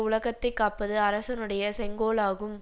உலகத்தை காப்பது அரசனுடைய செங்கோலாகும்